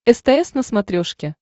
стс на смотрешке